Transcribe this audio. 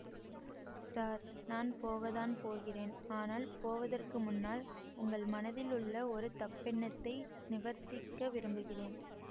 sir நான் போகத்தான் போகிறேன் ஆனால் போவதற்கு முன்னால் உங்கள் மனதில் உள்ள ஒரு தப்பெண்ணத்தை நிவர்த்திக்க விரும்புகிறேன்